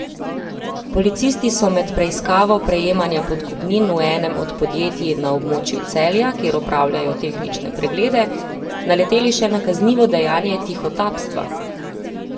Policisti so med preiskavo prejemanja podkupnin v enem od podjetij na območju Celja, kjer opravljajo tehnične preglede, naleteli še na kaznivo dejanje tihotapstva.